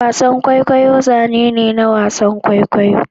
wasan kwaikwayo zane ne na wasan kwaikwayo